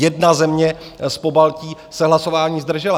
Jedna země z Pobaltí se hlasování zdržela.